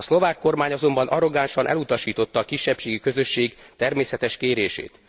A szlovák kormány azonban arrogánsan elutasította a kisebbségi közösség természetes kérését.